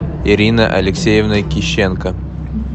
ирина алексеевна кищенко